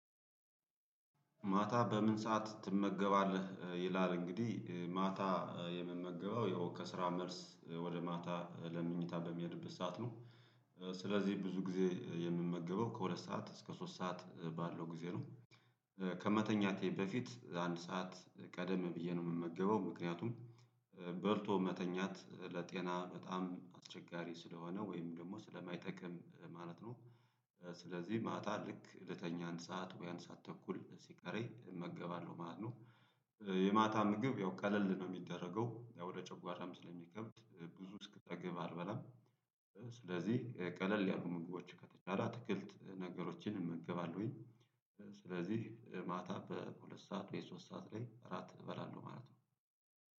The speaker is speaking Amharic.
ማታ በምን ሰዓት ትመገባለህ ይላል እንግዲህ ማታ የምመገበው ያው ከስራ መልስ ወደ ማታ ለመኝታ በሚሄድበት ሰዓት ነው። ስለዚህ ብዙ ጊዜ የምመገበው ከሁለት ሰዓት እስከ ሶስት ሰዓት ባለው ጊዜ ነው። ከመተኛቴ በፊት አንድ ሰዓት ቀደም ብዬ ነው የምመገበው ምክንያቱም በልቶ መተኛት ለጤና በጣም አስቸጋሪ ስለሆነ ወይም ደግሞ ስለማይጠቅም ማለት ነው። ስለዚህ ማታ ልክ ልተኛ አንድ ሰዓት ወይም አንድ ሰዓት ተኩል ሲቀረይ እመገባለሁ ማለት ነው። የማታ ምግብ ያው ቀለል ነው የሚደረገው ያው ወደ ጨጓራም ስለሚከብድ ብዙ እስክጠግብ አልበላም። ስለዚህ ቀለል ያሉ ምግቦች ከተቻለ አትክልት ነገሮችን እመገባለሁኝ። ስለዚህ ማታ በሁለት ሰዓት ወይ ሶስት ሰዓት ላይ እራት እበላለሁ ማለት ነው